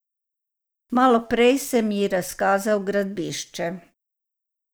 Malo prej sem ji razkazal gradbišče.